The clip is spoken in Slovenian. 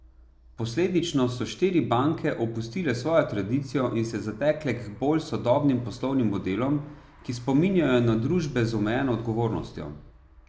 Posledično so štiri banke opustile svojo tradicijo in se zatekle k bolj sodobnim poslovnim modelom, ki spominjajo na družbe z omejeno odgovornostjo.